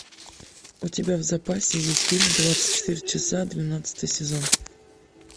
у тебя в запасе есть фильм двадцать четыре часа двенадцатый сезон